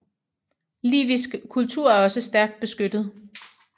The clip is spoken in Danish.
Livisk kultur er også stærkt beskyttet